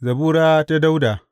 Zabura ta Dawuda.